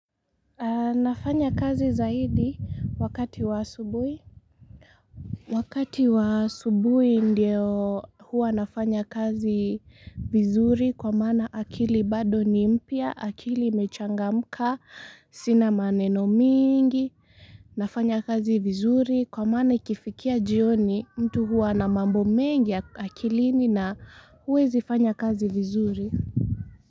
Nafanya kazi zaidi wakati wa asubuhi. Wakati wa asubuhi ndio huwa nafanya kazi vizuri kwa mana akili bado nimpya, akili imechangamka, sina maneno mingi. Nafanya kazi vizuri kwa mana ikifikia jioni mtu huwa na mambo mengi akilini na huwezi fanya kazi vizuri.